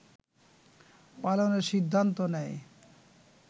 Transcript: পালনের সিদ্ধান্ত নেয়